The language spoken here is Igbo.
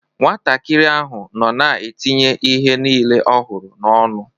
Nwatakịrị ahụ nọ na-etinye ihe niile ọ hụrụ n’ọnụ.